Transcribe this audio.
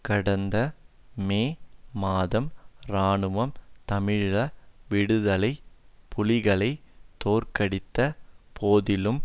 கடந்த மே மாதம் இராணுவம் தமிழீழ விடுதலை புலிகளை தோற்கடித்த போதிலும்